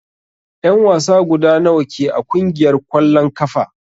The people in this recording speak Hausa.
En wasa guda nawa ke a kungiyar kwalln kafa?